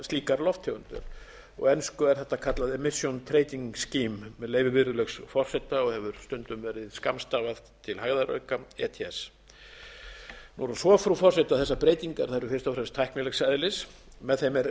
slíkar lofttegundir á ensku er þetta kallað emission trading scheme með leyfi virðulegs forseta og hefur stundum verið skammstafað til hægðarauka ets nú er það svo frú forseti að þessar breytingar eru fyrst og fremst tæknilegs eðlis með þeim er